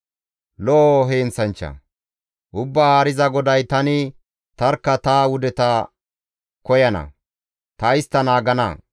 «Ubbaa Haariza GODAY, ‹Tani tarkka ta wudeta koyana; ta istta naagana.